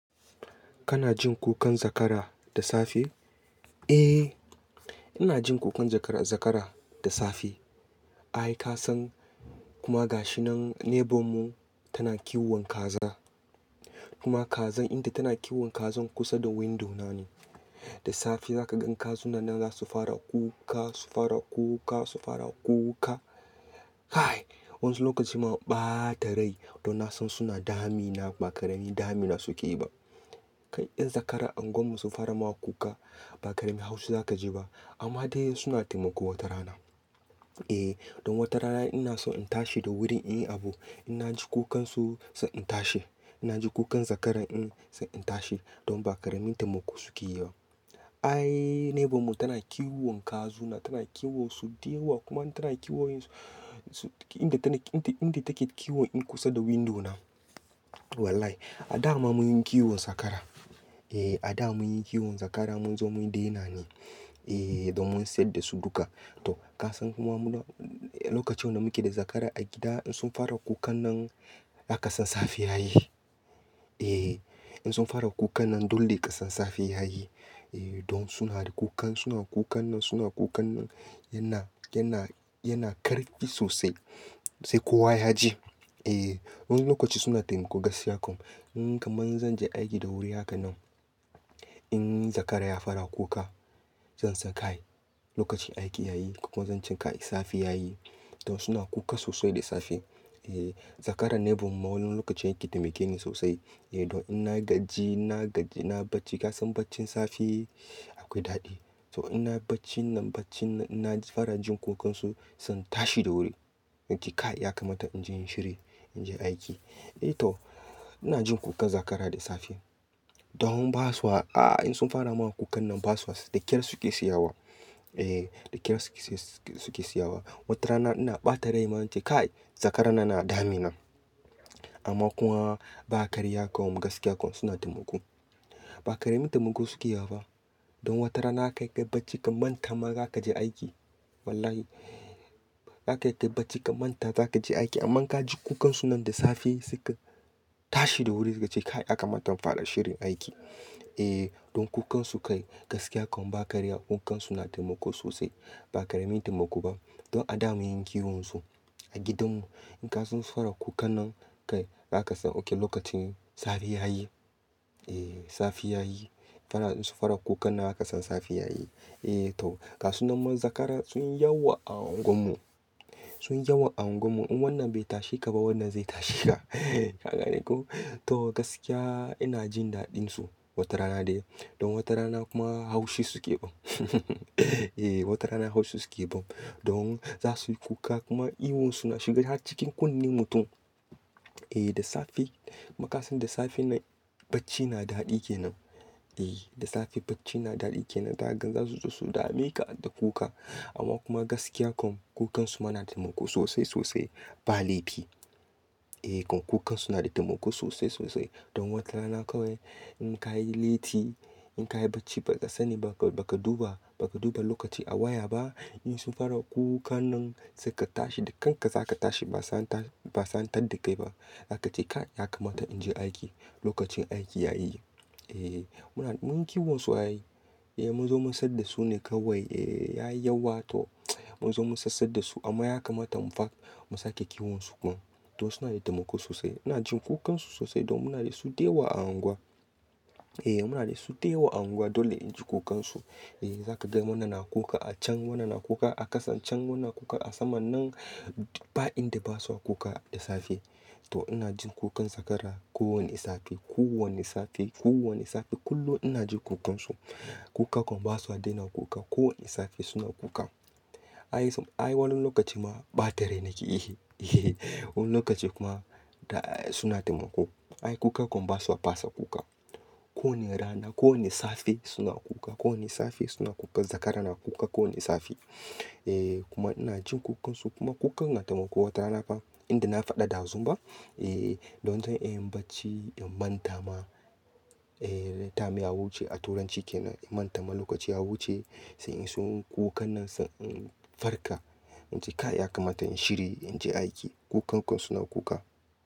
Kana jin kukan zakara da safe? Eh, ina jin kukan zakara da safe. Ai Kasan kuma gashinan nebur mu tana kiwon kaza. Kuma kazan, inda tana kiwon kazan kusa da window na ne. Da safe zaka gan kazuna nan za su fara kuka, su fara kuka, su fara kuka. Wansu lokacin ma in ɓata rai don na san suna damina ba ƙarami damina suke yi ba. Kai, ƴan zakara unguwar mu sun fara ma kuka ba ƙaramin haushi za ka ji ba amma dai suna taimako wata rana. Eh, don wata rana ina so in tashi da wuri in yi abu. Ina ji kukansu san tashi. Ina jin kukan zakaran in zan tashi domin ba ƙaramin taimako suke yi ba. Ai, nebur mun tana kiwon kazuna, tana kiwon su dayawa kuma tana kiwoyin su inda tana, inda take kiwon in kusa da window na. Wallahi, a da ma mun yi kiwon zakara. Eh, a da mun yi kiwon zakara mun zo mun daina ne. Eh, don mun saida su duka. To, ka san muma muna, lokacin da muke da zakara a gida in sun fara kukan nan zaka san safe yayi. Eh, in sun fara kukan nan dole ka san safe yayi. Eh, don suna da kukan, suna kukan nan, suna kukan nan, yana, yana, yana karfi sosai. Sai kowa ya ji. Eh, wani lokaci suna taimako gaskiya kam. In kamar zan je aiki da wuri haka nan, in zakara ya fara kuka zan san kai, lokacin aiki yayi. Kokuma zan ce kai safe yayi. Don suna kuka sosai da safe. Eh, zakara nebur mu wani lokacin yake taimake ni sosai. Eh, don in na gaji, na gaji, na bacci, ka san baccin safe akwai daɗi. To, in na bacci nan, bacci, ina fara jin kukansu zan tashi da wuri. In ce kai ya kamata in je in yi shiri, in je aiki. Eh to, ina jin kukan zakara da safe. Don basuwa, a, in sun fara ma kukan nan basuwa, da ƙyar suke tsiyawa. Eh, da ƙyar suke tsayawa. Wata rana ina ɓata rai ma in ce kai zakaran nan na damina. Amma kuma ba karya kam gaskiya kam suna taimako. Ba ƙaramin taimako suke yi ba. Don wata rana kai kayi bacci ka manta ma za ka je aiki. Wallahi. Za ka kai bacci ka manta za ka je aiki amma ka ji kukansu nan da safe saika, tashi da wuri saika ce kai yaka mata in fara shirin aiki. Eh, don kukansu kai gaskiya kam ba karya kukansu na taimako sosai. Ba ƙaramin taimako ba. Don a da mun yi kiwon su a gidan mu. In kasun fara kukan nan, kai za ka san oke lokacin safe yayi. Eh, safe yayi. Fara, in su fara kukan nan zaka san safe yayi. Eh to, ga su nan ma zakara sun yawa a unguwar mu. Sun yawa a unguwar mu. In wannan bai tashe ka ba wannan zai tashe ka. Haka ne ko? To gaskiya ina jin daɗin su, wata rana dai. Don wata rana kuma haushi suke ban. Eh wata rana haushi suke ban. Don za su yi kuka kuma ihun su na shiga cikin kunnen mutum. Eh da safe, makasan da safe nan bacci na daɗi ke nan. Eh, da safe bacci na daɗi ke nan zaka gan za su zo su dame ka da kuka. Amma kuma gaskiya kam kukansu ma na taimako sosai sosai. Ba laifi. Eh kam kukansu na da taimako sosai sosai. Don wata rana kawai, in ka yi laiti, in ka yi bacci ba ka sani ba, ka duba, ba ka duba lokaci a waya ba, in sun fara kukan nan sai ka tashi da kanka za ka tashi ba sai an ta, ba sai an tan da kai ba. Za ka ce kai ya kamata in je aiki. Lokacin aiki yayi. Eh, muna, mun yi kiwon su ai. Eh mun zo mun saida su ne kawai. Eh, yayi yawa to, mun zo mun sai sai da su amma ya kamata mu fara, mu sake kiwon su kuma. Don suna da taimako sosai. Ina jin kukansu sosai don muna da su da yawa a unguwa. Eh muna da su dewa a unguwa dole in ji kukansu. Eh za ka ga wannan na kuka a can, wannan na kuka a ƙasan can, wannan na kuka a saman nan. Ba inda basuwa kuka da safe. To ina jin kukan zakara ko wanne safe, ko wanne safe, ko wanne safe. Kullum ina jin kukansu. Kuka kam basuwa daina kuka. Ko wanne safe suna kuka. Ai, ai wani lokaci ma ɓata rai nake yi. Wani lokaci kuma, suna taimako. Ai kuka kam basuwa pasa kuka. Ko wanne rana, ko wanne safe suna kuka. Ko wanne safe suna kuka. Zakara na kuka ko wanne safe. Eh kuma ina jin kukansu kuma kukan na taimako wata rana fa, inda na faɗa ɗazun ba. Eh, don zan iya yin bacci in manta ma. Eh, time ya wuce a turanci ke nan, in manta ma lokaci ya wuce, sai in sunyi kukan nan sai in farka. In ce kai ya kamata in shiri in je aiki. Kukan kam suna kuka.